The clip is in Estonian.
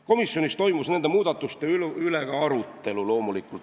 Komisjonis toimus loomulikult nende muudatuste üle ka arutelu.